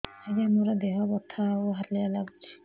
ଆଜ୍ଞା ମୋର ଦେହ ବଥା ଆଉ ହାଲିଆ ଲାଗୁଚି